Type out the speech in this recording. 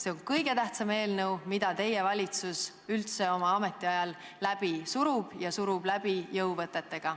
See on kõige tähtsam eelnõu, mida teie valitsus üldse oma ametiajal läbi surub, ja surub läbi jõuvõtetega.